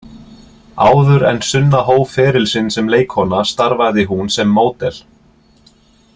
Áður en Sunna hóf feril sinn sem leikkona starfaði hún sem módel.